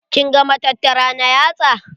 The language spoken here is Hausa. Kin ga matattara na yatsa?